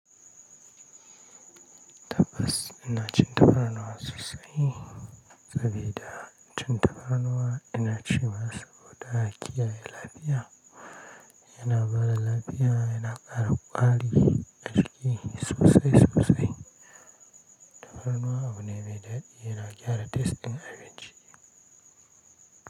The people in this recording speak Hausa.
Tabbas ina cin tafarnuwa sosai sabida cin tafarnuwa yana ci ma saboda kiyaye lafiya. Yana bada lafiya yana ƙara kwari a jiki sosai sosai. Tafarnuwa a wani mai daɗi yana gyara taste din abinci.